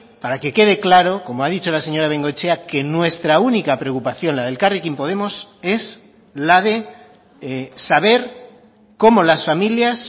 para que quede claro como ha dicho la señora bengoechea que nuestra única preocupación la de elkarrekin podemos es la de saber cómo las familias